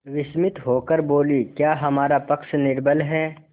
विस्मित होकर बोलीक्या हमारा पक्ष निर्बल है